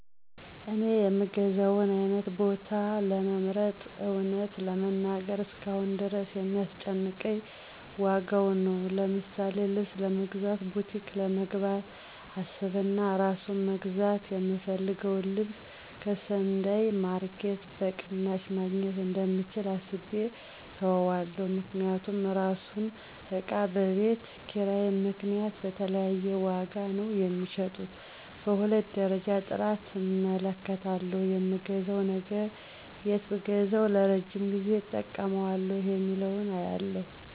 እኔ የምገዛውን አይነት ቦታ ለመምረጥ እውነት ለመናገር እስካሁን ድረስ የሚያስጨንቀኝ ዋጋው ነው። ለምሳሌ ልብስ ለመግዛት ቡቲክ ለመግባት አስብና አራሱን መግዛት የምፈልገውን ልብስ ከሰንዳይ ማረኬት በቅናሽ መግኘት እንደምችል አስቤ እተወዋለሁ። ምክንያቱም እራሱን እቃ በቤት ኪራይ ምክንያት በተለያየ ዋጋ ነው ሚሸጡት። በሁለተኛ ደረጃ ጥራት እመለከታለሁ የምገዛው ነገር የት ብገዛዉ ለረጅም ጊዜ እጠቀመዋለሁ የሚለውን አያለሁ።